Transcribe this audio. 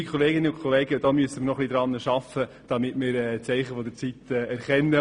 Liebe Kolleginnen und Kollegen, daran müssen wir noch etwas arbeiten und die Zeichen der Zeit erkennen.